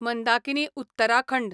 Mandakini Uttarakhand